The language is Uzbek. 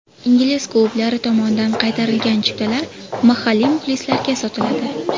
Ingliz klublari tomonidan qaytarilgan chiptalar mahalliy muxlislarga sotiladi.